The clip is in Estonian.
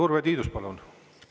Urve Tiidus, palun!